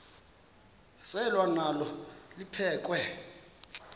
selwa nalo liphekhwe